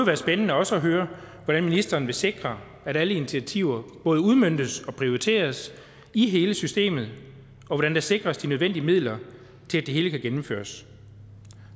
være spændende også at høre hvordan ministeren vil sikre at alle initiativer både udmøntes og prioriteres i hele systemet og hvordan der sikres de nødvendige midler til at det hele kan gennemføres